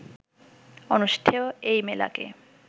অনুষ্ঠেয় এই মেলাকে